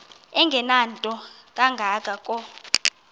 engenanto kanga ko